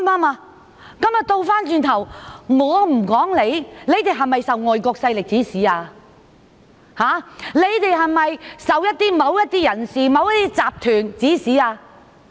相反，我是否也可批評他們受外國勢力指使？他們是否受某些人或集團指使？